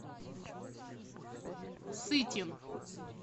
сытин